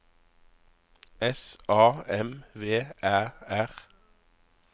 S A M V Æ R